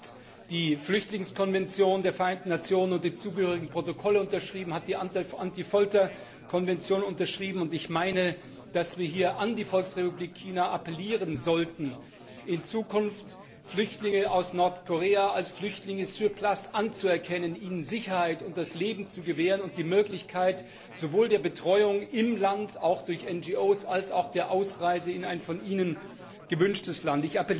China hat die Flüchtlingskonvention der Vereinten Nationen und die dazugehörigen Protokolle unterschrieben, hat das Übereinkommen gegen Folter unterschrieben, und ich meine, dass wir hier an die Volksrepublik China appellieren sollten, in Zukunft Flüchtlinge aus Nordkorea als Flüchtlinge sur place anzuerkennen, ihnen Sicherheit und das Leben zu gewähren und die Möglichkeit sowohl der Betreuung im Land, auch durch NGOs, als auch der Ausreise in ein von ihnen gewünschtes Land.